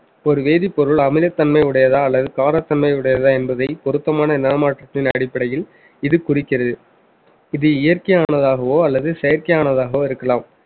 ஒரு வேதிப்பொருள் அமிலத்தன்மை உடையதா அல்லது காரத்தன்மை உடையதா என்பதை பொருத்தமான நிறமாற்றத்தின் அடிப்படையில் இது குறிக்கிறது இது இயற்கையானதாகவோ அல்லது செயற்கையானதாகவோ இருக்கலாம்